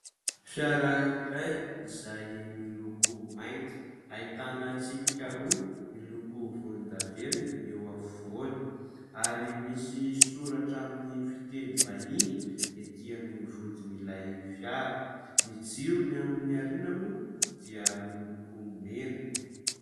Fiara iray izay miloko mainty ahitana tsipika roa miloko volondavenona eo afovoany ary misy soratra amin'ny fiteny vahiny etỳ amin'ny vodin'ilay fiara. Ny jirony amin'ny aoriana moa dia miloko mena.